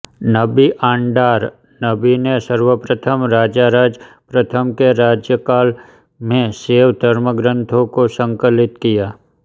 नंबि आंडार नंबि ने सर्वप्रथम राजराज प्रथम के राज्यकाल में शैव धर्मग्रंथों को संकलित किया